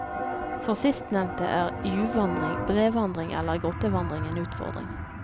For sistnevnte er juvvandring, brevandring eller grottevandring en utfordring.